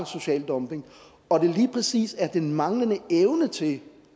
social dumping og at det lige præcis er den manglende evne til